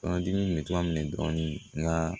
Kɔnɔdimi bɛ to a minɛ dɔɔni nka